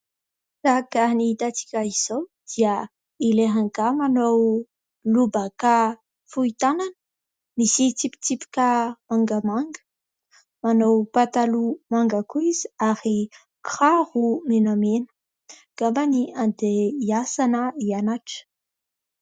Araka ny hitantsika izao dia ilay rangahy manao lobaka fohy tanana, misy tsipitsipika mangamanga, manao pataloha manga koa izy ary kiraro menamena ; angambany andeha hiasa na hianatra.